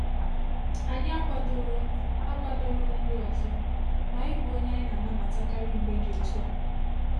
Anyị akwadoro akwadoro nri ọzọ, ma ị bụ onye anyị na-anabatakarị mgbe dị otú a.